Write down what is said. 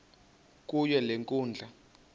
kuyo le nkundla